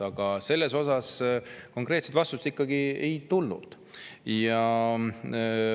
Aga selle kohta konkreetset vastust ikkagi ei tulnud.